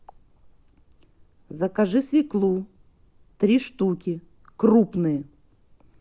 закажи свеклу три штуки крупные